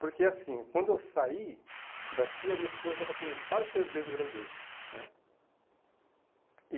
Porque, assim, quando eu saí daqui, a minha esposa estava com quase seis meses de gravidez, né. E